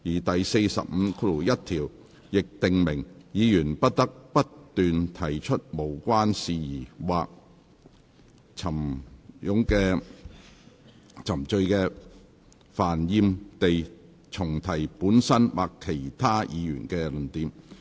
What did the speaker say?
第451條亦訂明，議員不得不斷提出無關的事宜或冗贅煩厭地重提本身或其他議員的論點。